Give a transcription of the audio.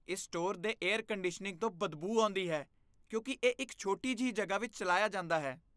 ਇਸ ਸਟੋਰ ਦੇ air conditioning ਤੋਂ ਬਦਬੂ ਆਉਂਦੀ ਹੈ ਕਿਉਂਕਿ ਇਹ ਇੱਕ ਛੋਟੀ ਜਿਹੀ ਜਗ੍ਹਾ ਵਿੱਚ ਚਲਾਇਆ ਜਾਂਦਾ ਹੈ।